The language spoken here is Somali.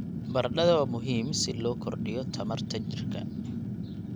Baradhada waa muhiim si loo kordhiyo tamarta jirka.